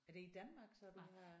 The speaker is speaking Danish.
Er det i Danmark så du har